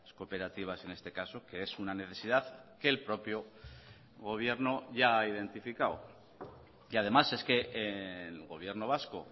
cooperativas en este caso que es una necesidad que el propio gobierno ya ha identificado y además es que el gobierno vasco